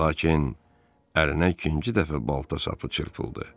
Lakin ərinə ikinci dəfə balta sapı çırpıldı.